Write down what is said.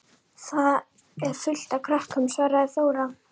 Þar er fullt af krökkum, svaraði Þóra.